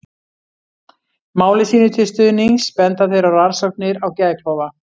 Máli sínu til stuðnings benda þeir á rannsóknir á geðklofa.